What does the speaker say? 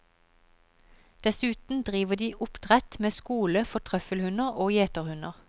Dessuten driver de oppdrett med skole for trøffelhunder og gjeterhunder.